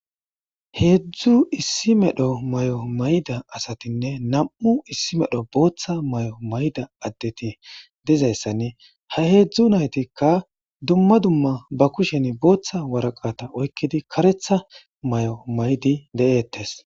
Heezzu issi mero mayo mayida asatinne nam'u issi mero booththa mayo mayida addeti diza issan ha heezzu naytikka dumma dumma ba kushen booththa woraqata oykkidi ,karetha mayo mayidi de'eettes.